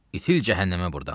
İtil cəhənnəmə burdan.